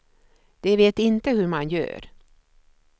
De vet inte hur man gör.